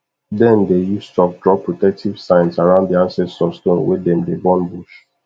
then dey use chalk draw protective signs around the ancestor stone when them dey burn bush